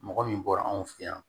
Mɔgɔ min bɔra anw fɛ yan